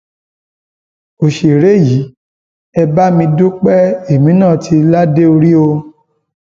òṣèré yìí ẹ bá mi dúpẹ èmi náà tì ládé orí o